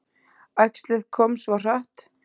Æxlið kom svo hratt.